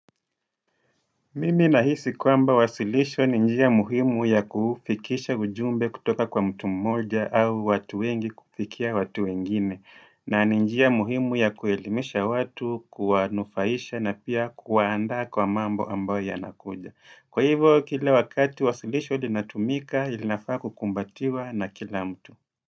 Mimi nahisi kwamba wasilisho ni njia muhimu ya kufikisha ujumbe kutoka kwa mtu mmoja au watu wengi kufikia watu wengine. Na ni njia muhimu ya kuhelimisha watu, kuwanufaisha na pia kuwaanda kwa mambo ambayo yanakuja. Kwa hivo, kila wakati wasilisho linatumika, linafaa kukumbatiwa na kila mtu.